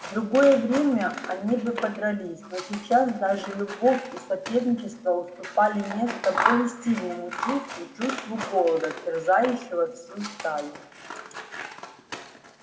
в другое время они бы подрались но сейчас даже любовь и соперничество уступали место более сильному чувству чувству голода терзающего всю стаю